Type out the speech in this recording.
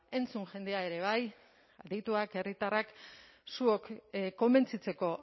entzun jendea ere bai adituak herritarrak zuok konbentzitzeko